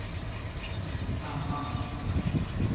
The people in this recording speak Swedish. samman